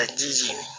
Ka ji jigin